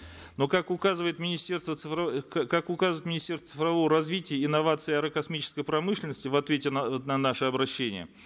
но как указывает министерство цифрового как указывает мнистерство цифрового развития инноваций аэрокосмической промышленности в ответе на на наше обращение